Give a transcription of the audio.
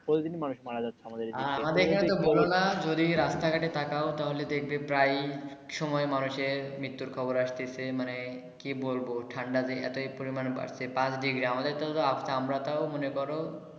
প্রতিদিনই মানুষ মারা যাচ্ছে আমাদের এই দিকে আমাদের এখানে বোলো না যদি রাস্তা ঘটে তাকাও তাহলে দেখবে প্রায় সময় মানুষের মৃত্যুর খবর আসতেছে মানে কি বলবো ঠান্ডা যে এতোই পরিমান বাড়ছে পাঁচ ডিগ্রি আমাদের তো আছে আমরা তো তাও মনে করো।